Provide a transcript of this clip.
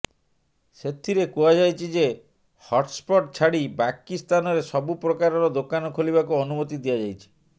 ସେଥିରେ କୁହାଯାଇଛି ଯେ ହଟ୍ସ୍ପଟ୍ ଛାଡି ବାକି ସ୍ଥାନରେ ସବୁ ପ୍ରକାରର ଦୋକାନ ଖୋଲିବାକୁ ଅନୁମତି ଦିଆଯାଇଛି